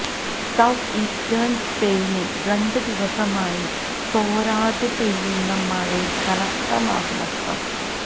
south eastern സ്പെയിനിൽ രണ്ട് ദിവസമായി തോരാതെ പെയ്യുന്ന മഴയിൽ കനത്ത നാശനഷ്ടം